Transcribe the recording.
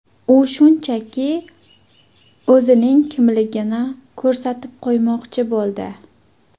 U shunchaki o‘zining kimligini ko‘rsatib qo‘ymoqchi bo‘ldi.